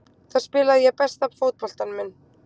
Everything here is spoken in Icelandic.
Þar spilaði ég besta fótboltann minn.